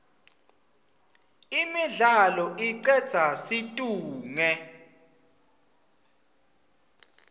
imidlalo icedza situnge